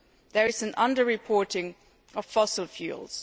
There is an under reporting of fossil fuels.